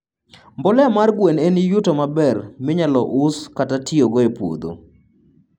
mbolea mar gwenoen en yuto maber minyalo us kata tiyogo e puodho